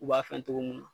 U b'a fɛn togo mun na